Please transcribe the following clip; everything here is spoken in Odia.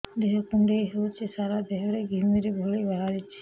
ଦେହ କୁଣ୍ଡେଇ ହେଉଛି ସାରା ଦେହ ରେ ଘିମିରି ଭଳି ବାହାରୁଛି